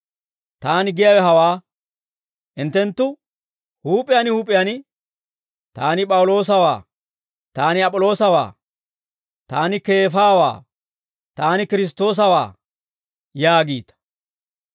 Taani giyaawe hawaa; hinttenttu huup'iyaan huup'iyaan, «Taani P'awuloosawaa. Taani Ap'iloosawaa. Taani Keefawaa. Taani Kiristtoosawaa» yaagiita.